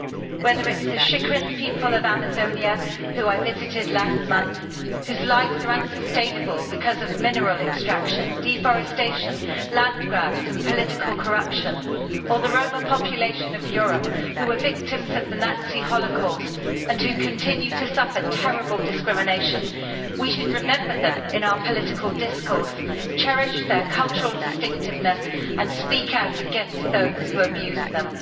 Whether it is the Xikrin people of Amazonia whom I visited last month, whose lives are unsustainable because of mineral extraction, deforestation, land grabs and political corruption, or the Roma population of Europe who were victims of the Nazi Holocaust and who continue to suffer terrible discrimination, we should remember them in our political discourse, cherish their cultural distinctiveness and speak out against those who abuse them.